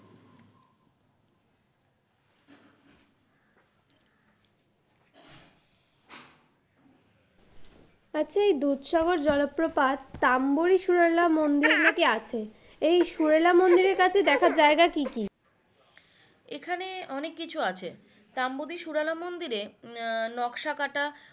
আচ্ছা এই দুধসাগর জলপ্রপাত তাম্বরি সুরেলা মন্দিরে নাকি আছে এই সুরেলা মন্দিরের দেখার জায়গা কি কি?